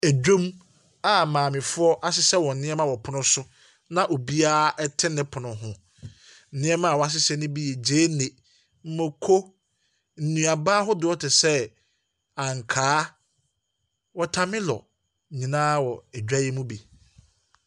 Dwam a maamefoɔ ahyehyɛ wɔn nneɛma wɔ pono so na obiara te ne pono ho. Nneɛma a wɔahyehyɛ no bi yɛ gyeene, mmako, nnuaba ahodoɔ te sɛ, ankaa, watɔmelɔ nyinaa wɔ dwa yi mu bi.